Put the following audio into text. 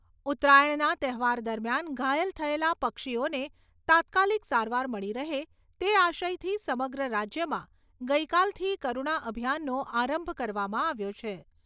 ઉત્તરાયણના તહેવાર દરમિયાન ઘાયલ થયેલા પક્ષીઓને તાત્કાલીક સારવાર મળી રહે તે આશયથી સમગ્ર રાજ્યમાં ગઈકાલથી કરૂણા અભિયાનનો આરંભ કરવામાં આવ્યો છે.